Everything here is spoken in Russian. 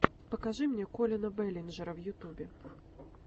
покажи мне коллина бэллинджера в ютубе